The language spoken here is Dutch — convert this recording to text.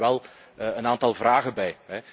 Daar heb ik wel een aantal vragen bij.